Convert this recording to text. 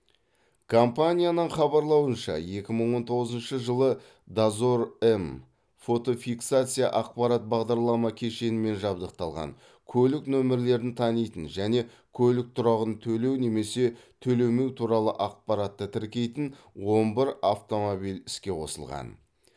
компанияның хабарлауынша екі мың он тоғызыншы жылы дозор м фотофиксация аппарат бағдарлама кешенімен жабдықталған көлік нөмірлерін танитын және көлік тұрағын төлеу немесе төлемеу туралы ақпаратты тіркейтін он бір автомобиль іске қосылған